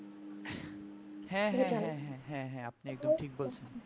হ্যাঁ হ্যাঁ হ্যাঁ আপনি এটা ঠিকি বলছেন